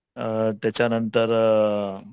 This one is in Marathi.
अ त्याच्या नंतर